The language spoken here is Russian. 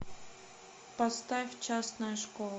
поставь частная школа